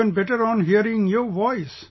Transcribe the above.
Even better on hearing your voice